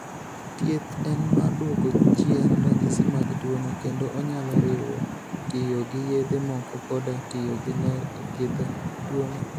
Thieth en mar duoko chien ranyisi mag tuwono kendo onyalo riwo tiyo gi yedhe moko koda tiyo gi ler e thiedho tuwono.